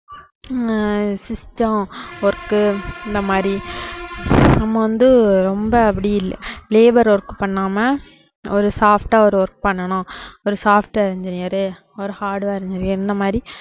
ஆஹ் system work உ அந்த மாதிரி நம்ம வந்து ரொம்ப அப்படி இல்~ labour work பண்ணாம ஒரு soft ஆ ஒரு work பண்ணணும் ஒரு software engineer ஒரு hardware engineer இந்த மாதிரி